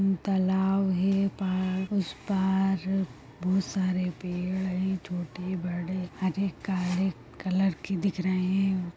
अ तालाब है पार उस पार अ बहुत सारे पेड़ है छोटे-बड़े हरे काले कलर के दिख रहे हैं ।